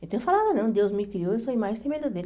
Então eu falava, não, Deus me criou a sua imagem e semelhança dele.